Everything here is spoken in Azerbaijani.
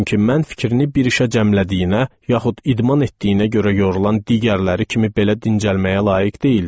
Çünki mən fikrini bir işə cəmlədiyinə, yaxud idman etdiyinə görə yorulan digərləri kimi belə dincəlməyə layiq deyildim.